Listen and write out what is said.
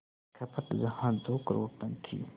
खपत जहां दो करोड़ टन थी